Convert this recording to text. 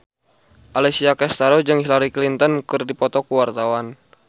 Alessia Cestaro jeung Hillary Clinton keur dipoto ku wartawan